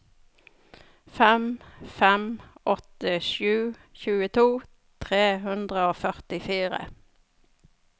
fem fem åtte sju tjueto tre hundre og førtifire